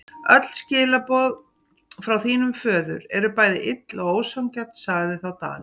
Öll skilaboð frá þínum föður eru bæði ill og ósanngjörn, sagði þá Daði.